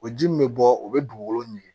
O ji min bɛ bɔ o bɛ dugukolo ɲinige